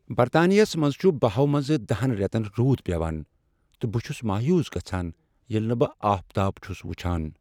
برطانیہس منٛز چھ بہہَ ہو منٛز دہَ ہن ریتن رُود پیوان تہٕ بہٕ چھس مایوس گژھان ییلِہ نہٕ بہٕ آفتاب چھس وچھان